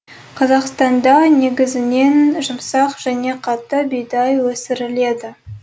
қазақстанда негізінен жұмсақ және қатты бидай өсіріледі